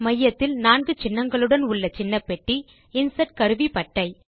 மையத்தில் 4 சின்னங்களுடன் உள்ள சின்ன பெட்டி இன்சர்ட் கருவிப்பட்டை